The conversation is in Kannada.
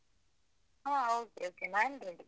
ಹ okay, okay . ನಾನ್ ready .